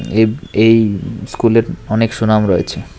এব এই স্কুল -এর অনেক সুনাম রয়েচে।